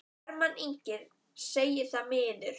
Hermann Ingi segir það miður.